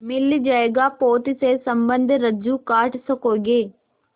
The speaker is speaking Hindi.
मिल जाएगा पोत से संबद्ध रज्जु काट सकोगे